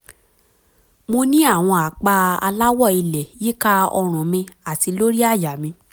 mo ní àwọn àpá aláwọ̀ ilẹ̀ yíká ọrùn mi àti lórí àyà mi